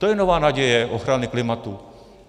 To je nová naděje ochrany klimatu.